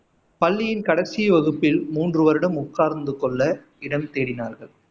பள்ளியின் கடைசி வகுப்பில் மூன்று வருடம் உட்கார்ந்து கொள்ள இடம் தேடினார்கள்